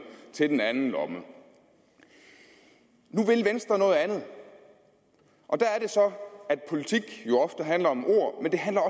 til den anden lomme nu vil venstre noget andet og der er det så at politik jo ofte handler om ord men det handler